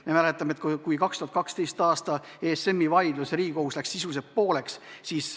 Me mäletame, et 2012. aastal läks ESM-i vaidluse ajal Riigikohus sisuliselt pooleks.